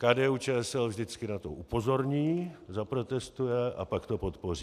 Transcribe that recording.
KDU-ČSL vždycky na to upozorní, zaprotestuje - a pak to podpoří.